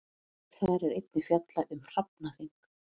Þar er einnig fjallað um hrafnaþing.